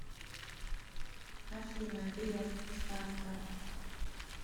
афина греф ставка